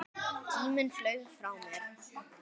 Tíminn flaug frá mér.